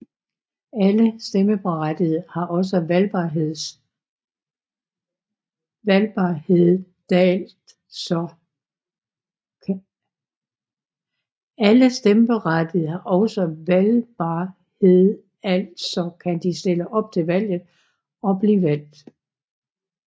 Alle stemmeberettigede har også valgbarhedaltså kan de stille op til valget og blive valgt